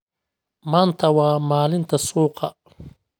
Maanta waa maalinta suuqa.